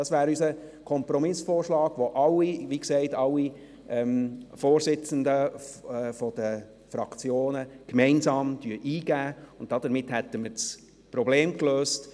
Das wäre unser Kompromissvorschlag, den, wie gesagt, alle Vorsitzenden der Fraktionen gemeinsam eingeben, und damit hätten wir das Problem gelöst.